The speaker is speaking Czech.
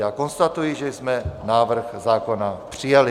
Já konstatuji, že jsme návrh zákona přijali.